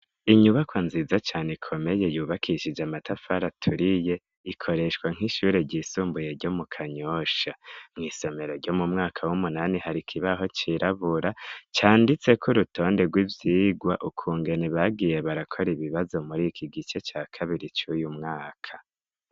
inyubako nziza cane ikomeye yubakishije amatafari aturiye ikoreshwa nk'ishure ry'isumbuye ryo mu kanyosha mw'isomero ryo mumwaka w'umunani hari ikibaho cirabura canditseko k'urutonde rw'ivyigwa ukungene bagiye barakora ibibazo muri ikigice ca kabiri cuyu mwaka